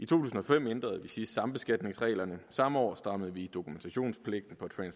tusind og fem ændrede vi sidst sambeskatningsreglerne og samme år strammede vi dokumentationspligten